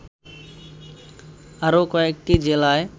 আরো কয়েকটি জেলায়